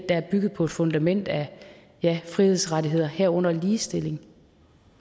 er bygget på et fundament af frihedsrettigheder herunder ligestilling